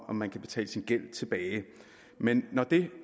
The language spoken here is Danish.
om man kan betale sin gæld tilbage men når det